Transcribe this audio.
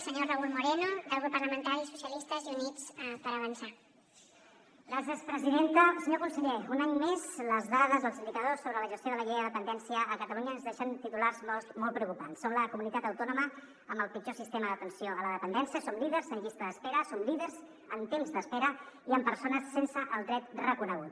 senyor conseller un any més les dades els indicadors sobre la gestió de la llei de dependència a catalunya ens deixen titulars molt preocupants som la comunitat autònoma amb el pitjor sistema d’atenció a la dependència som líders en llista d’espera som líders en temps d’espera i en persones sense el dret reconegut